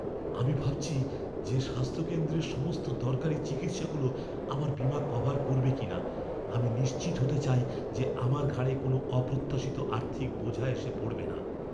আমি ভাবছি যে স্বাস্থ্য কেন্দ্রের সমস্ত দরকারি চিকিৎসাগুলো আমার বীমা কভার করবে কিনা। আমি নিশ্চিত হতে চাই যে আমার ঘাড়ে কোনও অপ্রত্যাশিত আর্থিক বোঝা এসে পড়বে না।